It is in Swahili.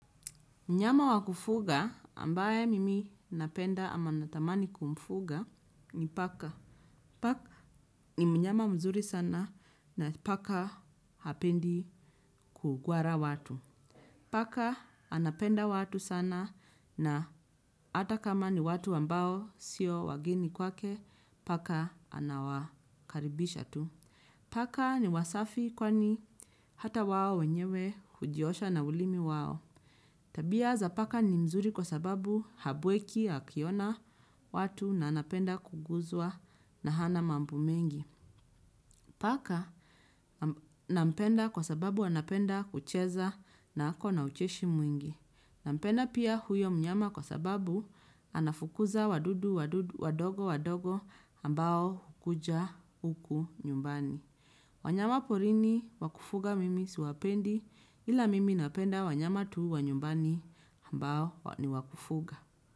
Mnyama wa kufuga ambaye mimi napenda ama natamani kumfuga ni paka. Paka ni mnyama mzuri sana na paka hapendi kugwara watu. Paka anapenda watu sana na ata kama ni watu ambao sio wageni kwake paka anawakaribisha tu. Paka ni wasafi kwani hata wao wenyewe hujiosha na ulimi wao. Tabia za paka ni mzuri kwa sababu habweki akiona watu na anapenda kuguzwa na hana mambo mengi. Paka nampenda kwa sababu anapenda kucheza na ako na ucheshi mwingi. Nampenda pia huyo mnyama kwa sababu anafukuza wadudu wadogo wadogo ambao hukuja uku nyumbani. Wanyama porini wakufuga mimi siwapendi ila mimi napenda wanyama tu wa nyumbani ambao ni wa kufuga.